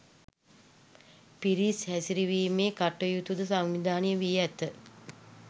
පිරිස් හැසිරවීමේ කටයුතුද සංවිධානය වී ඇත